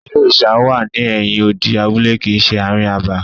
Ilé òrìṣà wà ní ẹ̀yin odi abúlé kìí ṣe ààrin abà.